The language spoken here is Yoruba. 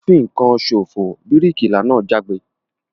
O n fìkan sofo! bíríkìlà náà jágbe